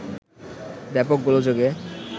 ব্যাপক গোলযোগে